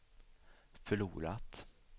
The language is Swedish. förlorat